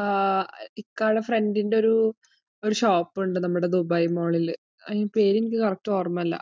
ആഹ് ഇക്കാന്റെ friend ഇന്റെ ഒരു shop ഉണ്ട്, നമ്മുടെ ദുബായ് mall ഇൽ. അതിന്റെ പേര് എനിക്ക് correct ഓർമയില്ല.